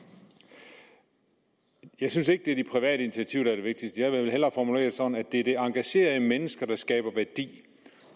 jeg synes ikke det er det private initiativ der er det vigtigste jeg vil jo hellere formulere det sådan at det er det engagerede menneske der skaber værdi